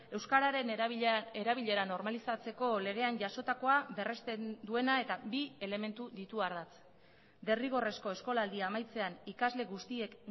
euskararen erabilera normalizatzeko legean jasotakoa berrezten duena eta bi elementu ditu ardatz derrigorrezko eskolaldia amaitzean ikasle guztiek